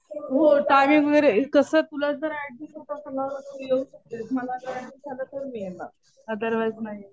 हो टायमिंग वगैरे. कसं तुला जर ऍडजस्ट होत असेल ना तर तू येऊ शकतेस. मला जर ऍडजस्ट झालं तर मी येणार. अदरवाईझ नाही.